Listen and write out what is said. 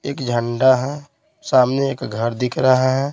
एक झंडा है सामने एक घर दिख रहा है।